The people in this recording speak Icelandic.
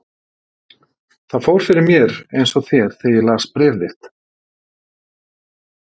Það fór fyrir mér eins og þér þegar ég las bréf þitt.